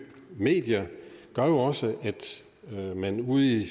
medier også at man ude i